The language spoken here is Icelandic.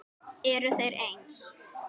Eru þeir eins?